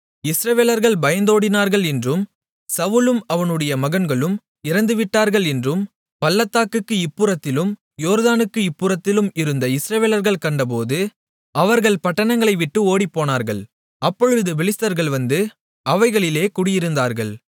இஸ்ரவேலர்கள் பயந்தோடினார்கள் என்றும் சவுலும் அவனுடைய மகன்களும் இறந்துவிட்டார்கள் என்றும் பள்ளத்தாக்குக்கு இப்புறத்திலும் யோர்தானுக்கு இப்புறத்திலும் இருந்த இஸ்ரவேலர்கள் கண்டபோது அவர்கள் பட்டணங்களை விட்டு ஓடிப்போனார்கள் அப்பொழுது பெலிஸ்தர்கள் வந்து அவைகளிலே குடியிருந்தார்கள்